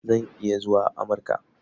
Zan iya zuwa Amurka.